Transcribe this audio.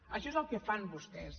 això és el que fan vostès